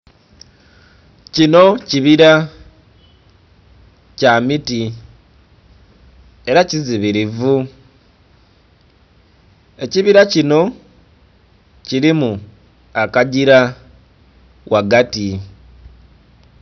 Kinho kibila kyamiti era kizibilivu. Ekibila kinho kilimu akagila ghagati